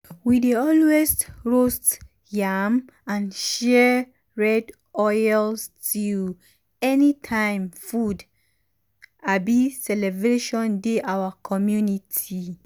we dey always roast yam and share red oil stew um anytime food um celebration dey our community.